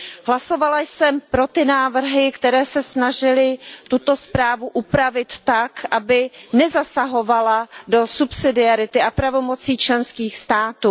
Hlasovala jsem pro ty návrhy, které se snažily tuto zprávu upravit tak, aby nezasahovala do subsidiarity a pravomocí členských států.